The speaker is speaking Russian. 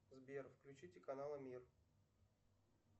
сбер включите канал мир